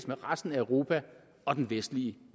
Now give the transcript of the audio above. med resten af europa og den vestlige